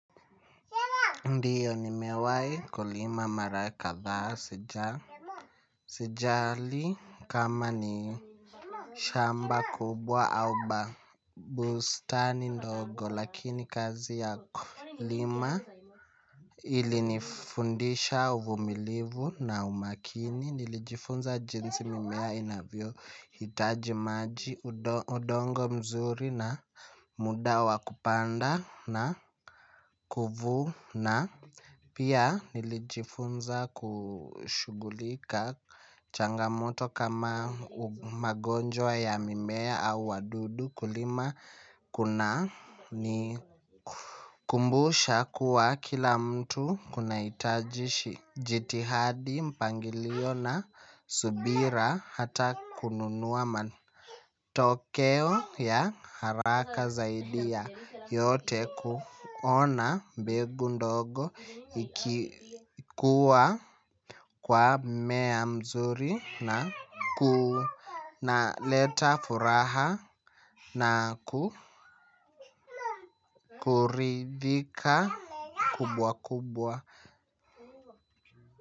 Ndiyo nimewai kulima mara kadhaa sijali kama ni shamba kubwa au ba bustani ndogo lakini kazi ya kulima ili nifundisha uvumilivu na umakini nilijifunza jinsi mimea inavyo hitaji maji udongo mzuri na muda wa kupanda na kuvuna. Pia nilijifunza kushugulika changamoto kama magonjwa ya mimea au wadudu kulima kuna ni kumbusha kuwa kila mtu kuna itajishi. Jitihadi mpangilio na subira hata kununua matokeo ya haraka zaidi ya yote kuona mbegu ndogo ikikua kwa mmea mzuri na kunaleta furaha na kukuridika kubwa kubwa.